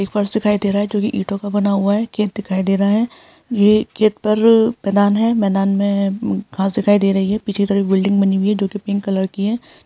एक फर्श दिखाई दे रहा है जो कि ईटो का बना हुआ है खेत दिखाई दे रहा है ये खेत पर मैदान है मैदान में घास दिखाई दे रही है पीछे तरफ एक बिल्डिंग बानी हुई है जो की पिंक कलर की है।